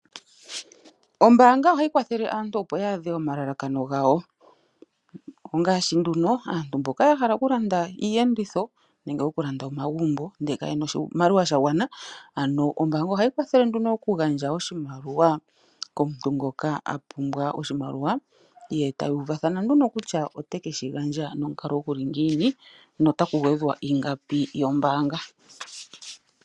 Ombaanga ohayi kwathele aantu opo ya adhe omalalakano gawo, ongaashi nduno aantu mboka yahala okulanda iiyenditho nenge yahala oku landa omagumbo ndele kayena oshimaliwa shagwana ano ombaanga ohayi kwathele nduno okugandja oshimaliwa komuntu ngoka apumbwa oshimaliwa, yo taya uvathana nduno kutya otekeshi eta nomukalo guli ngiini na otaku gwedhwa ingapi yombaanga.